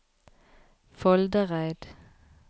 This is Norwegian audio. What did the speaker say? Foldereid